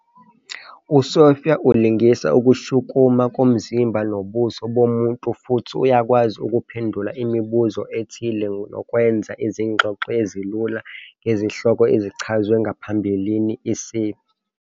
USophia ulingisa ukushukuma komzimba nobuso bomuntu futhi uyakwazi ukuphendula imibuzo ethile nokwenza izingxoxo ezilula ngezihloko ezichazwe ngaphambilini, isib.